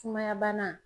Sumaya bana